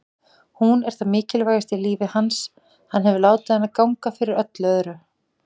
Hún er það mikilvægasta í lífi hans, hann hefur látið hana ganga fyrir öllu öðru.